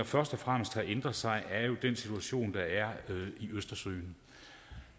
først og fremmest har ændret sig er jo den situation der er i østersøen